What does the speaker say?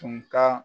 Tun ka